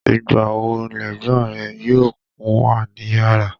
Ìgbà wo lẹ̀gbọ́n rẹ yóò kúnwà níyàrá?